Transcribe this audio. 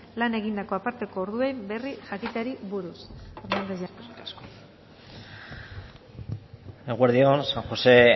lan egindako aparteko orduen berri jakiteari buruz hernández jauna eskerrik asko eguerdi on san jose